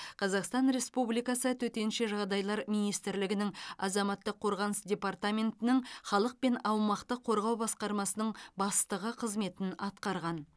қазақстан республикасы төтенше жағдайлар министрлігінің азаматтық қорғаныс департаментінің халық пен аумақты қорғау басқармасының бастығы қызметін атқарған